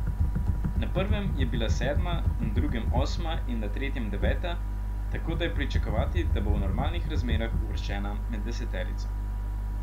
Na prvem je bila sedma, na drugem osma in na tretjem deveta, tako da je pričakovati, da bo v normalnih razmerah uvrščena med deseterico.